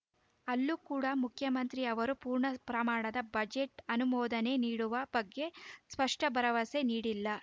ಅಲ್ಲೂ ಕೂಡ ಮುಖ್ಯಮಂತ್ರಿ ಅವರು ಪೂರ್ಣ ಪ್ರಮಾಣದ ಬಜೆಟ್‌ ಅನುಮೋದನೆ ನೀಡುವ ಬಗ್ಗೆ ಸ್ಪಷ್ಟಭರವಸೆ ನೀಡಿಲ್ಲ